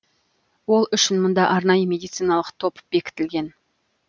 ол үшін мұнда арнайы медициналық топ бекітілген